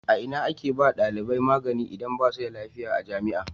A ina ake ba wa dalibai magani idan basu da lafiya a jami'a?